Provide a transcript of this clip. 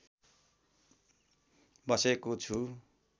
बसेको छु